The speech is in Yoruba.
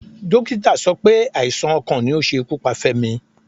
Dókítà sọ pé àìsàn ọkàn ni ó ṣe ikú pa Femi.